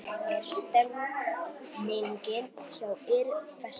Hvernig er stemmningin hjá ÍR þessa dagana?